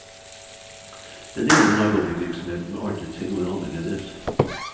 Denne gangen har lobbyvirksomheten artet seg noe annerledes.